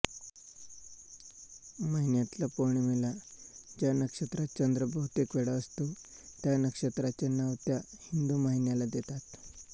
महिन्यातल्या पौर्णिमेला ज्या नक्षत्रात चंद्र बहुतेकवेळा असतो त्या नक्षत्राचे नाव त्या हिंदू महिन्याला देतात